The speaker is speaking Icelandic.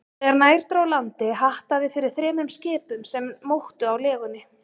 Þegar nær dró landi, hattaði fyrir þremur skipum, sem móktu á legunni.